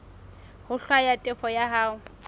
ho hlwaya tefo ya hao